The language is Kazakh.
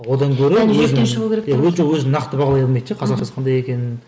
одан көрі иә өте өзін нақты бағалай алмайды да қандай екенін